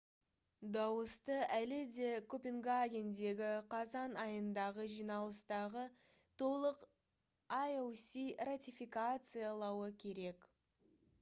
дауысты әлі де копенгагендегі қазан айындағы жиналыстағы толық ioc ратификациялауы керек